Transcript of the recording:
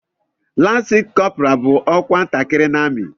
Lansi kọpura bú ọkwa ntakịrị n'amị